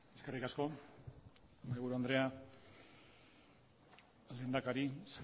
eskerrik asko mahaiburu andrea lehendakari